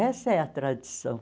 Essa é a tradição.